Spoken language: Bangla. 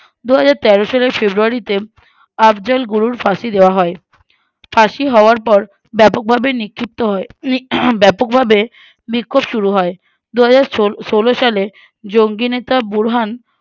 দুহাজার তেরো সালের February তে আর্জল গুরুর ফাঁসি দেওয়া হয় ফাঁসি হওয়ার পর ব্যাপকভাবে নিক্ষিপ্ত হয় আহ ব্যাপকভাবে বিক্ষোভ শুরু হয় দুহাজার ছলো ষোলো সালে জঙ্গি নেতা বুরহান